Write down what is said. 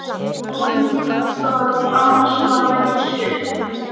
Og engin ástæða til annars svaraði Gissur.